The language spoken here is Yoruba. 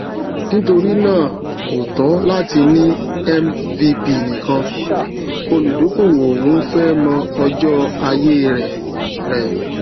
nítorí náà kò tó láti ní mvp nìkan olùdókòwò n fẹ mọ ọjọ ayé rẹ rẹ